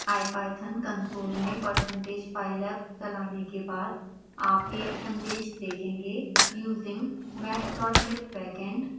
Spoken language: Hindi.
ipython कंसोल में percentage pylab चलाने के बाद आप एक संदेश देखेंगे using matplotlib backend: tkagg